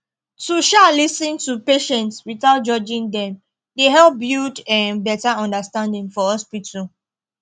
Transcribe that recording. to um lis ten to patients without judging dem dey help build um better understanding for hospital